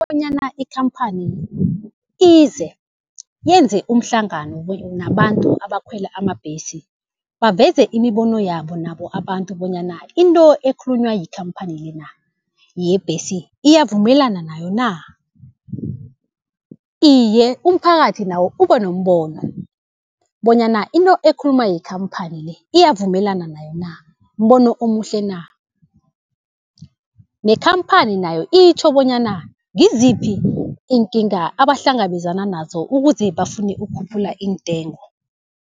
Bonyana ikhamphani ize, yenze umhlangano nabantu abakhwela amabhesi, baveze imibono yabo nabo abantu bonyana into ekhulunywa yikhamphani le na, yebhesi iyavumelana nayo na. Iye, umphakathi nawo uba nombono bonyana into ekhulunywa yikhamphani le iyavumelana nayo na, mbono omuhle na. Nekhamphani nayo itjho bonyana ngiziphi iinkinga abahlangabezana nazo ukuze bafune ukukhuphula iintengo.